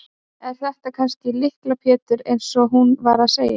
Er þetta kannski Lykla Pétur eins og hún var að segja?